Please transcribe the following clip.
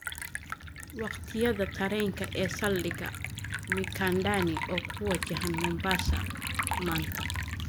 Waqtiyada tareenka ee saldhiga Mikandani oo ku wajahan Mombasa maanta